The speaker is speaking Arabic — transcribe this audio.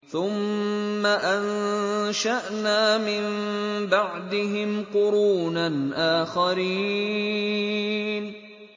ثُمَّ أَنشَأْنَا مِن بَعْدِهِمْ قُرُونًا آخَرِينَ